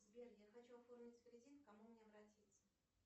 сбер я хочу оформить кредит к кому мне обратиться